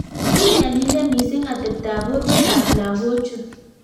Kinyalilee mising ateptoop porwek ap lagochuu